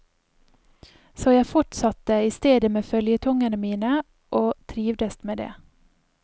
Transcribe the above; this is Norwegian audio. Så jeg fortsatte i stedet med føljetongene mine og trivdes med det.